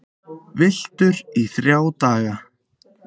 Villtur í þrjá daga